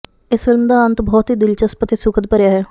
ਇਸ ਫਿਲਮ ਦਾ ਅੰਤ ਬਹੁਤ ਹੀ ਦਿਲਚਸਪ ਅਤੇ ਸੁਖਦ ਭਰਿਆ ਹੈ